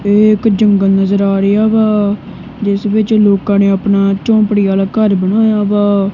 ਏਕ ਜੰਗਲ ਨਜ਼ਰ ਆ ਰਿਹਾ ਵਾ ਜਿਸ ਵਿੱਚ ਲੋਕਾਂ ਨੇ ਆਪਣਾ ਝੋਪੜੀ ਵਾਲਾ ਘਰ ਬਣਾਇਆ ਵਾ।